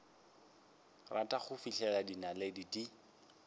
rata go fihlela dinaledi di